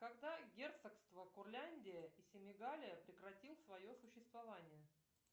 когда герцогство курляндия и семигалия прекратил свое существование